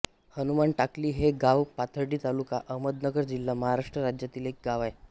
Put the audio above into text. हनुमान टाकली हे गाव पाथर्डी तालुका अहमदनगर जिल्हा महाराष्ट्र राज्यातील एक गाव आहे